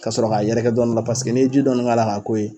Ka sɔrɔ k'a yɛrɛkɛ dɔni la paseke n'e ye ji dɔni k'a la k'a k'o ye